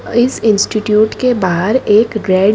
इस इंस्टिट्यूट के बाहर एक रेड --